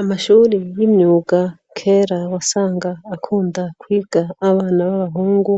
Amashuri y'imyuga kera wasanga akunda kwiga abana b'abahungu,